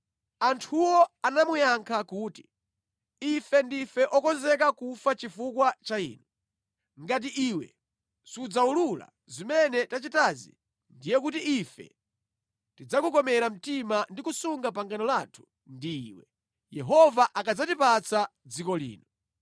Anthuwo anamuyankha kuti, “Ife ndife okonzeka kufa chifukwa cha inu. Ngati iwe sudzawulula zimene tachitazi, ndiye kuti ife tidzakukomera mtima ndi kusunga pangano lathu ndi iwe, Yehova akadzatipatsa dziko lino.”